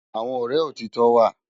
Awòn òrè ótitò wá